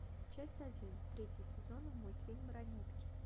часть один третий сезон мультфильм ранетки